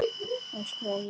öskraði ég í loðið eyra.